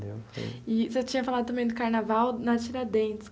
E você tinha falado também do carnaval na Tiradentes.